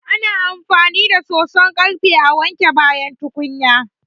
Ana amfani da soson ƙarfe a wanke bayan tukunya.